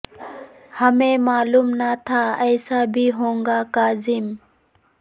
ہمیں معلوم نہ تھا ایسا بھی ہو گا کاظم